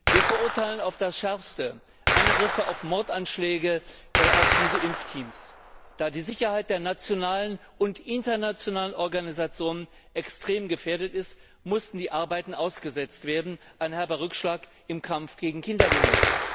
Wir verurteilen auf das Schärfste Angriffe und Mordanschläge auf diese Impfteams. Da die Sicherheit der nationalen und internationalen Organisationen extrem gefährdet ist, mussten die Arbeiten ausgesetzt werden ein herber Rückschlag im Kampf gegen Kinderlähmung.